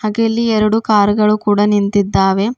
ತೆ ಇಲ್ಲಿ ಎರಡು ಕಾರ್ ಗಳು ಕೂಡ ನಿಂತಿದ್ದಾವೆ.